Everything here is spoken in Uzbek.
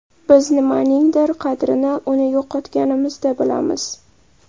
Biz nimaningdir qadrini uni yo‘qotganimizda bilamiz.